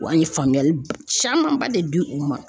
Wa an ye faamuyali camanba de di u ma.